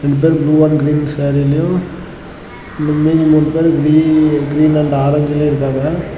ரெண்டு பேரும் வந்து ப்ளூ அண்ட் கிரீன் சேரிலையும் மீதி மூணு பேரு கிரீ கிரீன் அண்ட் ஆரஞ்சுலையும் இருக்காங்க.